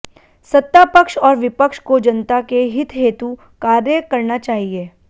सत्ता पक्ष और विपक्ष को जनता के हित हेतु कार्य करना चाहिए